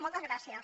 moltes gràcies